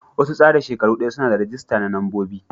Wasu tsara shekaru daya suna da ragista na mambobi.